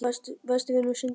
Besti vinur systranna!